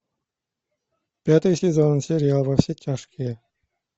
пятый сезон сериал во все тяжкие